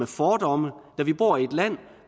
fordomme da vi bor i et land